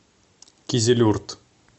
кизилюрт